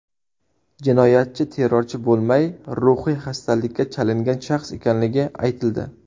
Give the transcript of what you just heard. Jinoyatchi terrorchi bo‘lmay, ruhiy xastalikka chalingan shaxs ekanligi aytildi.